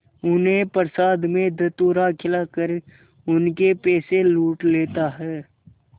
उन्हें प्रसाद में धतूरा खिलाकर उनके पैसे लूट लेता है